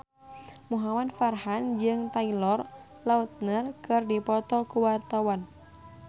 Muhamad Farhan jeung Taylor Lautner keur dipoto ku wartawan